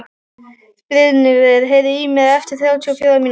Brynmar, heyrðu í mér eftir þrjátíu og fjórar mínútur.